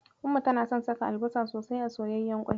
Umma tana son saka albasa sosai a soyayyan ƙwai.